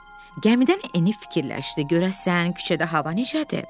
Gəmidən enib fikirləşdi, görəsən küçədə hava necədir?